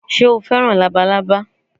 Sé o fẹ́ràn Labalábá